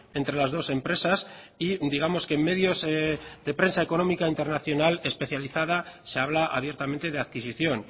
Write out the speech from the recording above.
entre las dos empresas y digamos que en medios de prensa económica internacional especializada se habla abiertamente de adquisición